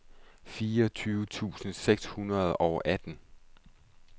fireogtyve tusind seks hundrede og atten